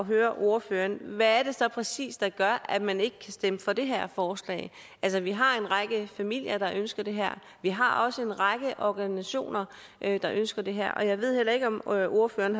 høre ordføreren hvad det så præcis er der gør at man ikke kan stemme for det her forslag altså vi har en række familier der ønsker det her og vi har også en række organisationer der ønsker det her jeg ved heller ikke om ordføreren